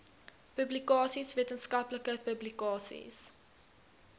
publikasies wetenskaplike publikasies